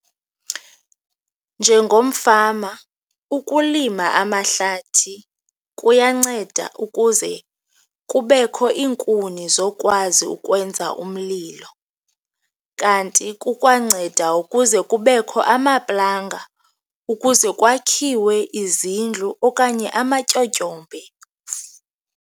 Njengomfama, ukulima amahlathi kuyanceda ukuze kubekho iinkuni zokwazi ukwenza umlilo kanti kukwanceda ukuze kubekho amaplanga ukuze kwakhiwe izindlu okanye amatyotyombe.